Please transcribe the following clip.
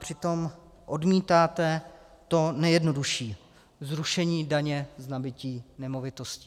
Přitom odmítáte to nejjednodušší - zrušení daně z nabytí nemovitostí.